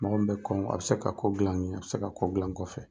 Mɔgɔ min bɛ kɔn , a bi se ka ko gilan n ɲɛ, a bi se ka ko gilan n kɔfɛ.